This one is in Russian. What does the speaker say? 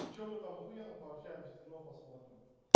и что мы там охуенно пообщаемся кино посмотрим